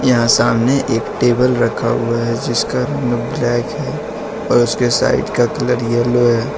यहां सामने एक टेबल रखा हुआ है जिसका रंग ब्लैक है और उसके साइड का कलर येलो है।